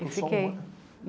Eu fiquei.